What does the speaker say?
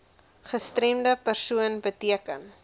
gestremde persoon beteken